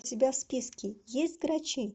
у тебя в списке есть грачи